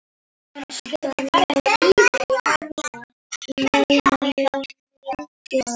Hann saknaði mömmu mikið.